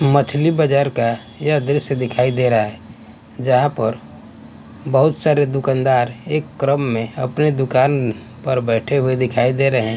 मछली बाजार का यह दृश्य दिखाई दे रहा है जहाँ पर बहुत सारे दुकानदार एक क्रम में अपनी दुकान पर बैठे हुए दिखाई दे रहे हैं।